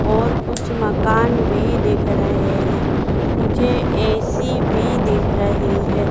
और कुछ मकान भी दिख रहे हैं मुझे ए_सी भी दिख रही है।